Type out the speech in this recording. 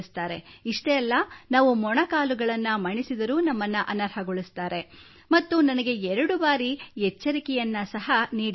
ಇಷ್ಟೇ ಅಲ್ಲ ನಾವು ಮೊಣಕಾಲುಗಳನ್ನು ಮಣಿಸಿದರೂ ನಮ್ಮನ್ನು ಅನರ್ಹಗೊಳಿಸುತ್ತಾರೆ ಮತ್ತು ನನಗೆ 2 ಬಾರಿ ಎಚ್ಚರಿಕೆಯನ್ನು ಸಹ ನೀಡಲಾಗಿತ್ತು